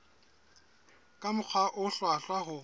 ka mokgwa o hlwahlwa ho